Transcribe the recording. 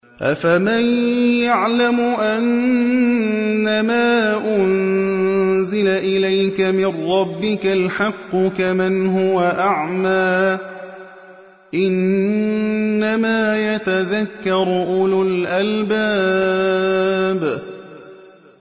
۞ أَفَمَن يَعْلَمُ أَنَّمَا أُنزِلَ إِلَيْكَ مِن رَّبِّكَ الْحَقُّ كَمَنْ هُوَ أَعْمَىٰ ۚ إِنَّمَا يَتَذَكَّرُ أُولُو الْأَلْبَابِ